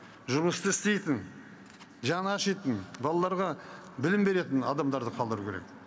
жұмысты істейтін жаны ашитын балаларға білім беретін адамдарды қалдыру керек